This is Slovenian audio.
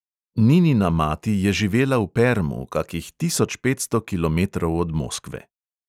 Ninina mati je živela v permu, kakih tisoč petsto kilometrov od moskve.